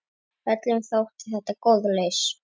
Öllum þótti þetta góð lausn.